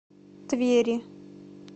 твери